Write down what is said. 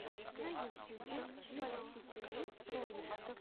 на ютьюбе виваситиру ролик